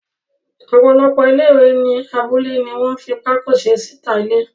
Ọ̀pọ̀lọpọ̀ ilé-ìwẹ̀ ní abúlé ní wọ́n fi pákó se síta ilé.